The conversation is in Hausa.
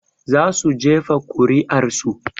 Za su jefa kuri'ar su